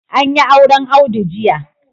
An yi auren Audu jiya